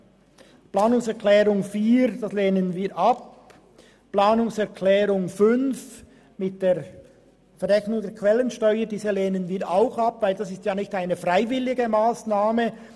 Die Planungserklärung 4 lehnen wir ab, den Antrag 5 mit der Verrechnung der Quellensteuer ebenfalls, denn das ist keine freiwillige Massnahme.